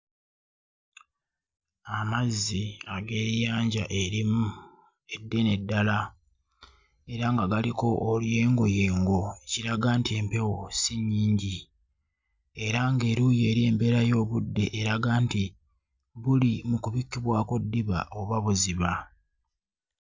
Amazzi ag'eriyanja erimu eddene ddala, era nga galiko oluyengoyengo ekiraga nti empewo si nnyingi era ng'eruuyi eri embeera y'obudde eraga nti buli mukubikibwako ddiba oba buziba.